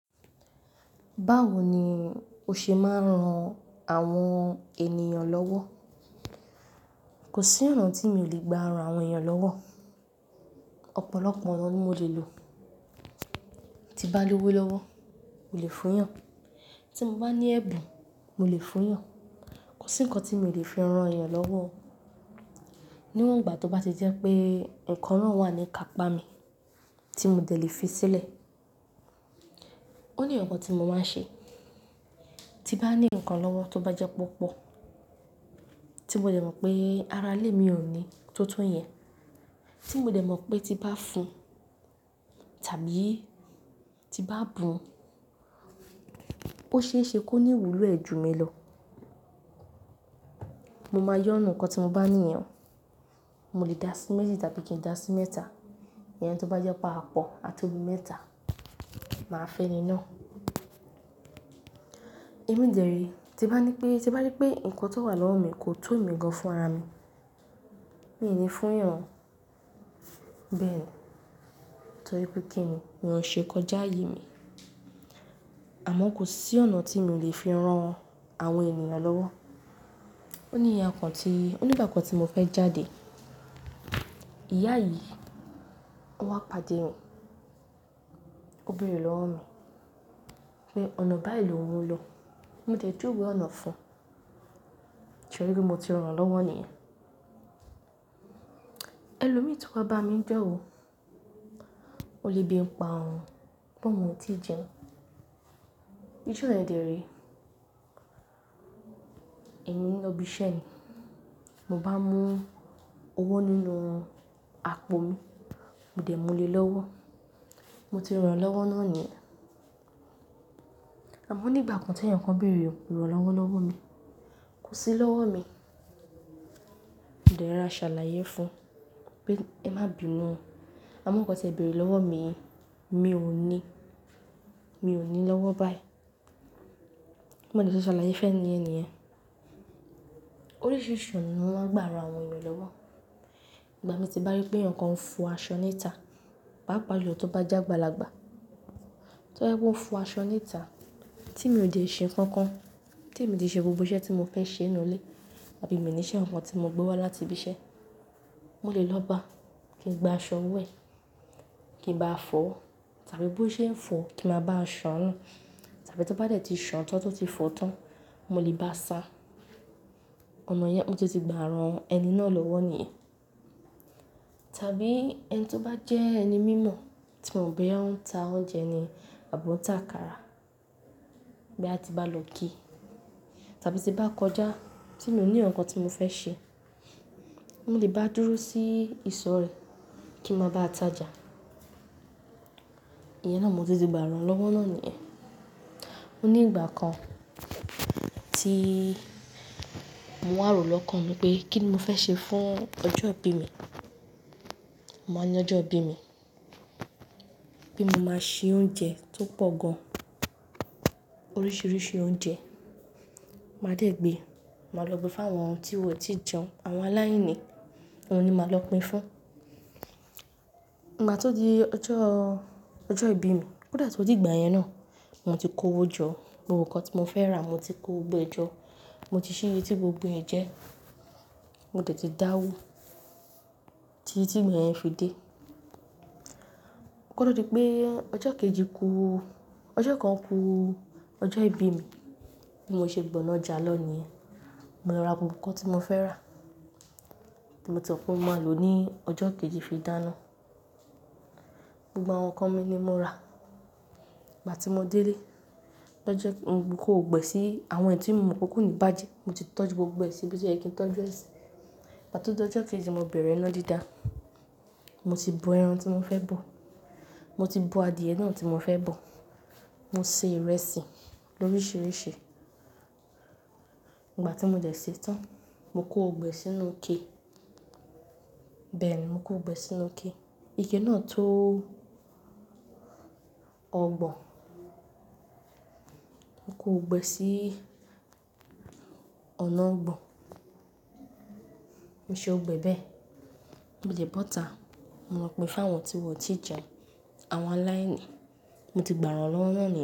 Báwo ni o ṣe máa ń ran àwọn ènìyàn lọ́wọ́? Kò sí ọ̀nà tí mi ò lè gba àrùn àwọn ènìyàn lọ́wọ́. Ọ̀pọ̀lọpọ̀ ọ̀nà ni mo lè lò. Ti bá ní owó lọ́wọ́, mo lè fún yàn. Tí mo bá ní ẹ̀bùn, mo lè fún yàn. Kò sí nǹkan tí mi ò lè fi ran ènìyàn lọ́wọ́. Ní wọ̀n ìgbà tó bá ti jẹ́ pé ǹkan na wà ní ikápa mi tí mo dẹ̀ lè fi sílẹ̀, ó ní nkankan tí mo máa ń ṣe. Ti bá ní ǹkan lọ́wọ́ tó bá jẹ́ pe opọ̀ tí mo dẹ̀ mọ̀ pé ara lè mi ò ní tó tún yẹn, tí mo dẹ̀ mọ̀ pé tí bá fún tàbí tí bá bun, ó ṣe é ṣe kó ní ìwúlò ẹ̀ ju mi lọ, mo máa yo nínú nkan tí mo bá ní yen, mo lè dá sí méjì tàbí kí n dá sí mẹ́ta. Ìyẹn tó bá jẹ́ pa apọ̀ àto bi mẹ́ta, màá fún ẹni náà. Èmi dere, tí bá ní pé, tí bá rí pé ǹkan tó wà lọ́wọ́ mi kò tó emi gan fún ara mi, mi ò ní fún yàn. Bẹ́ẹ̀ni, torí pé kí nì ó ṣe é kọjá aye mí. Àmọ́ kò sí ọ̀nà tí mi ò lè fi ran àwọn ènìyàn lọ́wọ́. Ó ní iya kan tí, ó ní ìgbà kan tí mo fẹ́ jáde. Ìyá yìí, ó wá pàdé mi. Ó béèrè lọ́wọ́ mi pé ọ̀nà báyi lowun lọ. Mo dẹ̀ juwe ọ̀nà fún. Sé ri pe mo ti rán lọ́wọ́ niyen. Ẹlòmíì tun wá bá mi ni jó wò. Ó lebi ń pa oùn pe ohun o ti jẹun. Ijo yen dèrè. Ẹ̀mí lọbí iṣẹ́ ni mo bá mú owó nínú àpò mi, mo dẹ̀ mú lé lọ́wọ́. Mo ti rán lọ́wọ́ náà ni. Àmọ́ ní ìgbà kan tí èyan kan béèrè iràn lọ́wọ́ lọ́wọ́ mi, kò sí lọ́wọ́ mi. Mo dẹ̀ rora ṣàlàyé fún pé ẹmá bínu, àmọ́ ǹkan tí ẹ béèrè lọ́wọ́ mi, mi ò ní, mi ò ní lọ́wọ́ báyìí. Mo dẹ̀ se ṣàlàyé fún ẹniyen niyen órisiri ọ̀nà mi mo maa n gba ran àwọn ènìyàn lowo. Ìgbà mi tí bá rí pé eyan kan ń fò aṣọ níta, papa julò tó bá jẹ́ agbáàlagbà. Tó jẹ́ pé ó ń fọ aṣọ níta tí mi ò dẹ̀ ṣe nǹkan kan, témi ti ṣe gbogbo iṣẹ́ tí mo fẹ́ ṣe nínú ilé àbí miì níṣẹ́ kankan tí mo gbé wá láti ibi iṣẹ́, mo lè lọ ba kí n gba aṣọ ọwọ́ ẹ̀, kí n bá a fọ̀ọ́ tàbí bó ṣe ń fọ̀ọ́ kí n máa bá a ṣàn-án nù. Tàbí tó bá dẹ̀ ti ṣàn-án tán tó ti fọ̀ọ́ tán, mo lè ba sa. Ọ̀nà yẹn ó tún ti gba ran ẹni náà lọ́wọ́ nìyẹn tàbí ẹni tí ó bá jẹ́ ẹni mímọ̀ tí mo mọ̀ bóyá ó ń ta oúnjẹ ni àbí ó ń ta àkàrà bóyá tí n bá lọ ki tàbí tí n bá kọjá tí mi ò ní nǹkan kan tí mo fẹ́ ṣe, mo lè ba dúró sí ìsọ̀ rẹ̀ kí n máa bá a tajà. Ìyẹn náà mo tún ti gbà ràn-án lọ́wọ́ náà nìyẹn. Ó ní ìgbà kan tí mo wà ròó lọ́kàn mi pé kí ni mo fẹ́ ṣe fún ọjọ́ ìbí mi. Mo máa ń ní ọjọ́ ìbí mi pé mo máa ṣe oúnjẹ tó pọ̀ gan-an. Oríṣìíríṣìí oúnjẹ. Màá dẹ̀ gbe, màá lọ gbe fáwọn tí wọn ò tí ì jẹun, àwọn aláìní. Òun ni màá lọ pín fún. Ìgbà tó di ọjọ́, ọjọ́ ìbí mi, kó dẹ̀ tó dìgbà yẹn náà mo ti kówó jọ, gbogbo nǹkan tí mo fẹ́ rà mo ti kó gbogbo ẹ̀ jọ, mo ti ṣíye tí gbogbo ẹ̀ jẹ́, mo dẹ̀ ti dáwó títí tí ìgbà yẹn fi dé. Kó tó di pé ọjọ́ kejì ku, ọjọ́ kan ku ọjọ́ ìbí mi, bí mo ṣe gbọ̀nà ọjà lọ nìyẹn, mo lọ ra gbogbo nǹkan tí mo fẹ́ rà tí mo ti mọ̀ pé mo máa lòó ní ọjọ́ kejì fi dáná. Gbogbo àwọn nǹkan mi ni mo rà. Ìgbà ti mo délé lọ́jọ́, mo kó gbogbo ẹ̀ sí, àwọn èyí tí mo mọ̀ pé kò ní bàjẹ́. Mo ti tọ́jú gbogbo ẹ̀ síbi tó yẹ kí n tọ́jú ẹ̀ sí. Ìgbà tó d'ọjọ́ kejì mo bẹ̀rẹ̀ iná dídá. Mo ti bọ ẹran tí mo fẹ́ bọ̀. Mo ti bọ adìyẹ náà tí mo fẹ́ bọ̀. Mo se ìrẹsì lóríṣìíríṣìí. Ìgbà tí mo dẹ̀ sèé tán, mo kó gbogbo ẹ̀ sínú ike. Bẹ́ẹ̀ni mo kó gbogbo ẹ̀ sínú ike. Ike náà tó ọgbọ̀n. Mo kó ọ̀gbẹ́ sí ọ̀nà ọgbọ̀n. Mo ṣe ọ̀gbẹ́ bẹ́ẹ̀. Mo dẹ̀ bọ́ 'ta. Mo lọ pín f'áwọ tí wọ́n ò tí ì jẹun, àwọn aláìní. Mo ti gbàrànlọ́wọ́ náà nìyẹn.